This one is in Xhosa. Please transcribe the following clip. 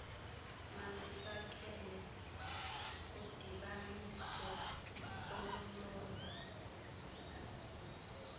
masifakelwe kudibaniso olulolo